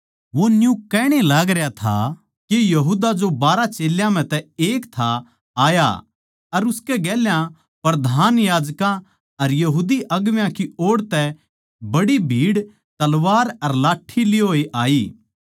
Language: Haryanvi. वो न्यू कहण ए लागरया था के यहूदा जो बारहां चेल्यां म्ह तै एक था आया अर उसकै गेल्या प्रधान याजकां अर यहूदी अगुवां की ओड़ तै बड्डी भीड़ तलवार अर लाठ्ठी लिये होए आई